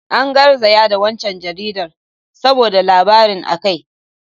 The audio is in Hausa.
An garzaya da waccan jaridar saboda labarin a kai.